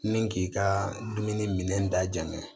Ni k'i ka dumuni minɛ da jan